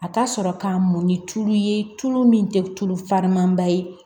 A ka sɔrɔ ka mɔn ni tulu ye tulu min tɛ tulu farimanba ye